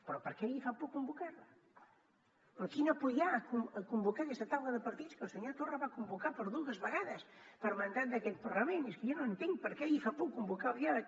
però per què li fa por convocar la però quina por hi ha a convocar aquesta taula de partits que el senyor torra va convocar per dues vegades per mandat d’aquest parlament és que jo no entenc per què li fa por convocar el diàleg